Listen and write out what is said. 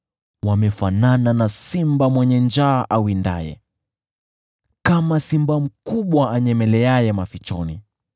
Wamefanana na simba mwenye njaa awindaye, kama simba mkubwa anyemeleaye mafichoni.